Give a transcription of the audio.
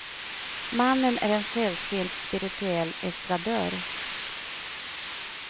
Mannen är en sällsynt spirituell estradör.